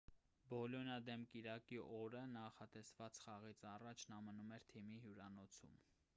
բոլոնիայիա դեմ կիրակի օրը նախատեսված խաղից առաջ նա մնում էր թիմի հյուրանոցում